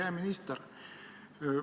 Hea minister!